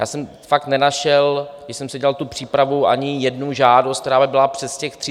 Já jsem fakt nenašel, když jsem si dělal tu přípravu, ani jednu žádost, která by byla přes těch 30 dnů.